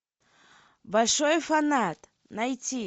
большой фанат найти